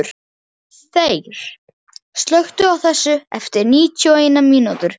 Þeyr, slökktu á þessu eftir níutíu og eina mínútur.